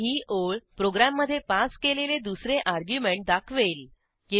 आणि ही ओळ प्रोग्रॅममधे पास केलेले दुसरे अर्ग्युमेंट दाखवेल